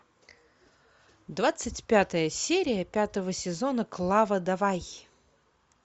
двадцать пятая серия пятого сезона клава давай